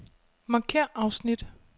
Markér afsnit.